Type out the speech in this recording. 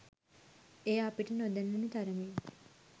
එය අපිට නොදැනුනු තරමින්